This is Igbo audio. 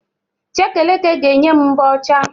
Chekeleke ga-enye m mbọ ọcha